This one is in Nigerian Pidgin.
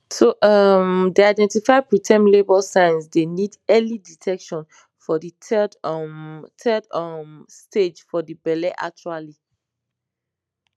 to um dey identify preterm labour signs dey need early detection for de third um third um stage for de belle actually